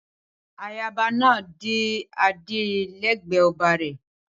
Ayaba náà dé adé lẹgbẹ ọba re